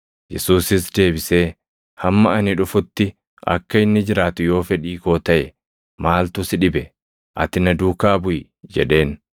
Yesuusis deebisee, “Hamma ani dhufutti akka inni jiraatu yoo fedhii koo taʼe, maaltu si dhibe? Ati na duukaa buʼi” jedheen.